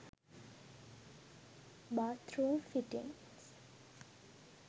bath room fittings